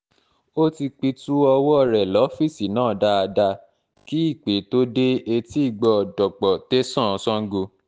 ó ti pitú ọwọ́ rẹ lọ́fíìsì náà dáadáa kí ìpè tóo dé etíìgbọ́ dọ̀pọ̀ tẹ̀sán sango